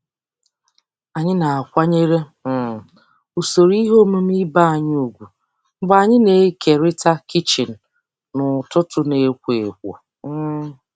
Anyị na-akwanyere um usoro ihe omume ibe anyị ùgwù mgbe anyị na-ekerịta kichin n'ụtụtụ na-ekwo ekwo. um